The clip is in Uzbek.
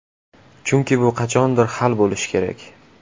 Chunki bu qachondir hal bo‘lishi kerak.